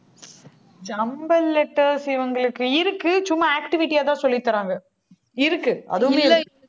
jumbled letters இவங்களுக்கு இருக்கு. சும்மா activity ஆ தான் சொல்லித்தர்றாங்க இருக்கு அதுவுமே இருக்கு.